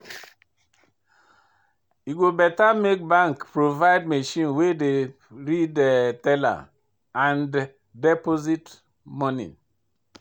E go better make bank provide machine wey go dey read teller and deposit monie.